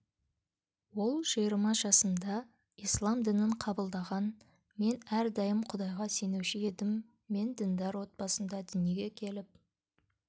ол жиырма жасында ислам дінін қабылдаған мен әрдайым құдайға сенуші едім мен діндар отбасында дүниеге келіп